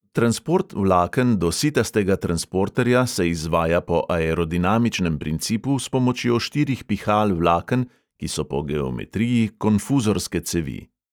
Transport vlaken do sitastega transporterja se izvaja po aerodinamičnem principu s pomočjo štirih pihal vlaken, ki so po geometriji konfuzorske cevi.